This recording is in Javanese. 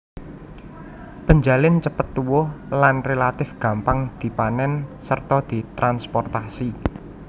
Penjalin cepet tuwuh lan relatif gampang dipanèn sarta ditransprotasi